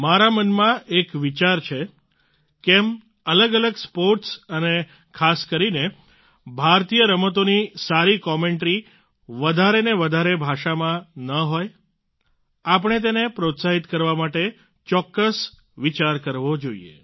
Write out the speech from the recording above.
મારા મનમાં એક વિચાર છે કેમ અલગ અલગ સ્પોર્ટ્સ અને ખાસ કરીને ભારતીય રમતોની સારી કોમેન્ટરી વધારે ને વધારે ભાષાઓમાં ન હોય આપણે તેને પ્રોત્સાહિત કરવા માટે ચોક્કસ વિચાર કરવો જોઈએ